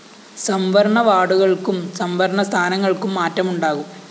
സംവരണ വാര്‍ഡുകള്‍ക്കും സംവരണ സ്ഥാനങ്ങള്‍ക്കും മാറ്റമുണ്ടാകും